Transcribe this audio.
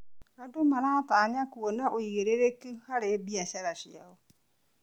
Andũ maratanya kuona ũigĩrĩrĩki harĩ biacara ciitũ.